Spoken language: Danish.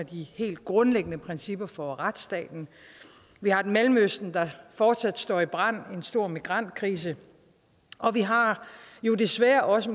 de helt grundlæggende principper for retsstaten vi har mellemøsten der fortsat står i brand der en stor migrantkrise og vi har jo desværre også